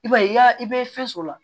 I b'a ye i y'a i bɛ fɛn sɔrɔ